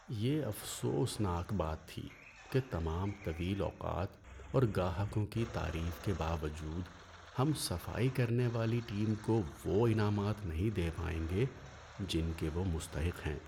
یہ افسوسناک بات تھی کہ تمام طویل اوقات اور گاہکوں کی تعریف کے باوجود ہم صفائی کرنے والی ٹیم کو وہ انعامات نہیں دے پائیں گے جن کے وہ مستحق ہیں۔